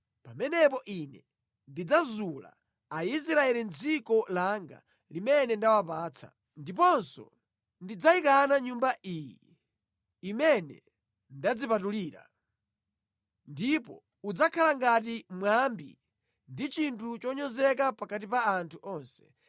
pamenepo Ine ndidzazula Aisraeli mʼdziko langa limene ndinawapatsa, ndiponso ndidzayikana Nyumba ino imene ndadzipatulira. Ndipo udzakhala ngati mwambi ndi chinthu chonyozedwa pakati pa anthu onse.